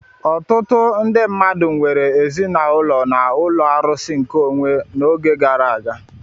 Ọtụtụ ndị mmadụ nwere ezinaụlọ na ụlọ arụsị nkeonwe n'oge gara aga.